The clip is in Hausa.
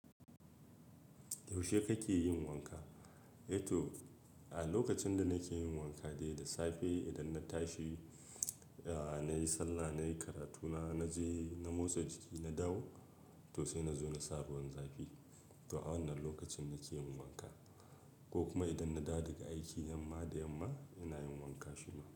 Yaushe kake yin wanka? Eh to, a lokacin da nake yin wanka dai da safe idan na tashi, eh na yi sallah, na yi karatu na, na je na motsa jiki, na dawo to sai na zo na sa ruwan zafi. To a wannan lokacin nake yin wanka ko kuma idan na dawo daga aiki, yamma da yamma ina yin wanka shima.